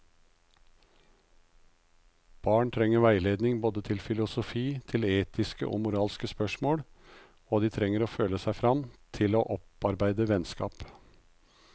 Barn trenger veiledning både til filosofi, til etiske og moralske spørsmål, og de trenger å føle seg frem til å opparbeide vennskap.